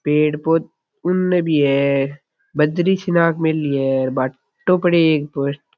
पेड़ पौधा उनने भी है बजरी सी राख मेली है भाटो पड़यो है --